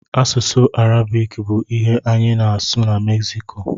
Asụsụ Arabik bụ ihe anyị na-asụ na Meksiko.